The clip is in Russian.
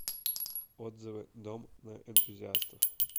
отзывы дом на энтузиастов